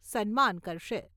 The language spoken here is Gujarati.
સન્માન કરશે.